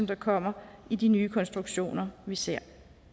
der kommer i de nye konstruktioner vi ser